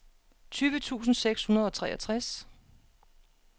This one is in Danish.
tyve tusind seks hundrede og treogtres